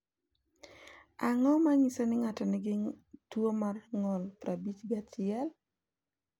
Ang’o ma nyiso ni ng’ato nigi tuwo mar ng’ol 51?